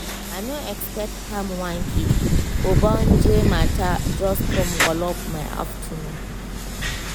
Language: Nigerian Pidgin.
i no expect ham one kid ogbonge mata jus com walop my afternoon